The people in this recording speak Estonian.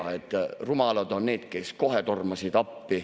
Nii et rumalad on need, kes kohe tormasid appi.